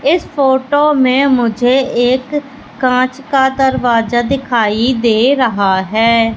इस फोटो में मुझे एक कांच का दरवाजा दिखाई दे रहा है।